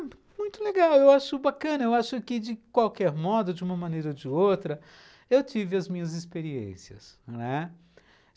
Muito legal, eu acho bacana, eu acho que de qualquer modo, de uma maneira ou de outra, eu tive as minhas experiências, não é?